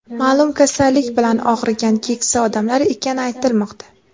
ma’lum kasallik bilan og‘rigan keksa odamlar ekani aytilmoqda.